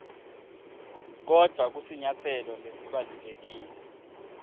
kodvwa kusinyatselo lesibalulekile